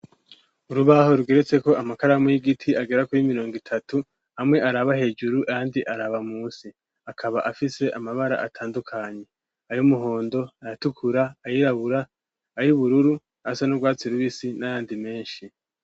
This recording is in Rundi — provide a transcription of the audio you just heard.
Urubaho, rugeretseko, amakaramu y'igiti, agera kuri mirongo itatu; amwe, araba hejuru, ayandi, araba munsi; akaba, afise amabara atandukanye; ay'umuhondo, ayatukura, ayirabura, ay'ubururu, asa n'urwatsi rubisi, n'ayandi menshi.